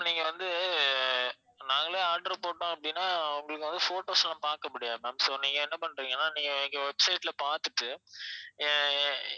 நீங்க வந்து அஹ் நாங்களே order போட்டோம் அப்படினா உங்களுக்கு வந்து photos லாம் பார்க்க முடியாது ma'am so நீங்க என்ன பண்றிங்கன்னா நீங்க எங்க website ல பார்த்துட்டு அஹ்